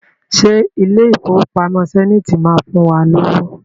Ṣé ilé Ìfowópamọ́ Zenith máa fún wa lówó?